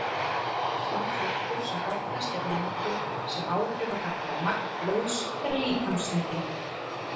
Sá þáttur sem oftast er nefndur sem áhrifaþáttur á magn blóðs er líkamsþyngdin.